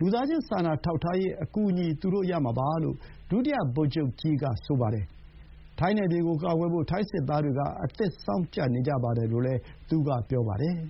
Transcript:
လူသားချင်းစာနာထောက်ထားရေး အကူအညီ သူတို့ရမှာပါ’ လို့ ဒုတိယ ဗိုလ်ချုပ်ကြီး က ဆိုပါတယ်။ ထိုင်းနယ်မြေကိုကာကွယ်ဖို့ ထိုင်းစစ်သားတွေ က အသင့်စောင့်ကြပ်နေကြပါတယ်လို့လည်း သူက ပြောပါတယ်